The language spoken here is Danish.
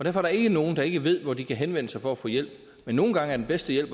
er der ikke nogen der ikke ved hvor de kan henvende sig for at få hjælp men nogle gange er den bedste hjælp